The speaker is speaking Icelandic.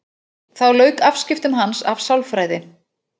Þá lauk afskiptum hans af sálfræði.